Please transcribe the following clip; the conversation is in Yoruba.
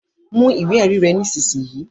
Mú ìwé ewì rẹ nisisiyi!